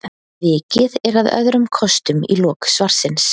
vikið er að öðrum kostum í lok svarsins